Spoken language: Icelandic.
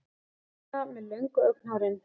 Díana með löngu augnahárin.